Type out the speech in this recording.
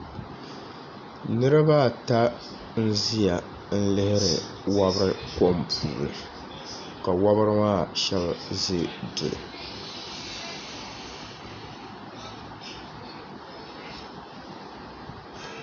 Niriba ata n-ʒiya lihiri wabiri kom puuni ka wabiri maa shɛba ʒi duli.